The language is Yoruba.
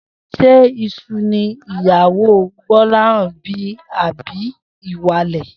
S̩é ìsun ni ìyàwó Gbó̩láhàn bí àbí ìwàlè̩?